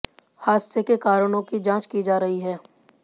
हादसे के कारणों की जांच की जा रही है